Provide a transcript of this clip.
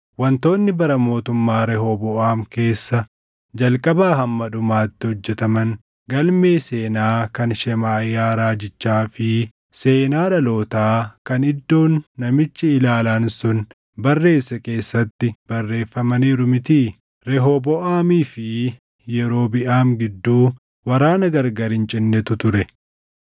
Wantoonni bara mootummaa Rehooboʼaam keessa jalqabaa hamma dhumaatti hojjetaman galmee seenaa kan Shemaaʼiyaa raajichaa fi seenaa dhalootaa kan Iddoon namichi ilaalaan sun barreesse keessatti barreeffamaniiru mitii? Rehooboʼaamii fi Yerobiʼaam gidduu waraana gargari hin cinnetu ture.